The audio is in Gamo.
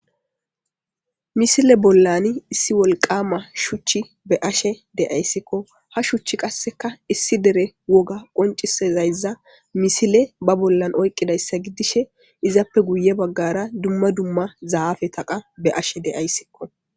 misile bollan issi wolqama shuchchi be ashe de7ayssikko ha shuchch qasseka issi dere woga qoncisezayza misile ba bollan oyqqidayssa giddishe izappe guye baggara dumma dumma zaafe taqa be ashe deayssikko